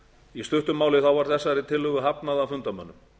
í stuttu máli var þessari tillögu hafnað af fundarmönnum